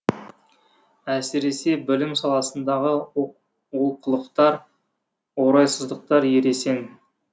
әсіресе білім саласындағы олқылықтар орайсыздықтар ересен